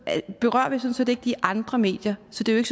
set ikke de andre medier så det er